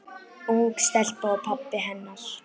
Ung stelpa og pabbi hennar.